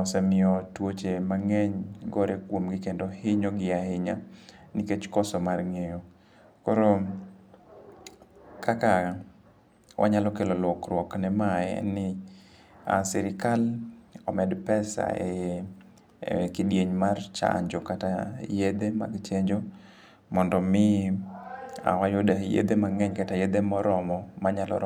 osemiyo tuoche mang'eny gore kuomgi kendo hinyogi ahinya nikech koso mar ng'eyo. Koro kaka wanyalo kelo lokruok ne ma en ni sirikal omed pesa e kidieny mar chnjo kata yedhe mag chenjo mondo mi wayude yedhe mang'eny kata yedhe moromo manyalo ro.